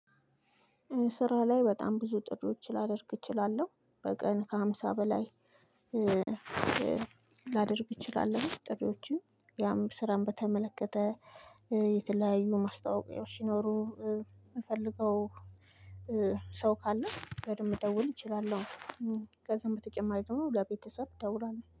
ስራ ላይ በጣም ብዙ ጥሪዎች ልደርግ እችላለሁ በቀን ከሃምሳ በላይ። እችላለሁኝ ጥሪዎችን ያም ስራን በተመለከተ የተለያዩ ማስታወቂያዎች ሲኖሩ የምፈልገው ሰው ካለ በደንብ መደወል እችላለሁ። ከዛም በተጨማሪ ደግሞ ለቤተሰብ እደውላለው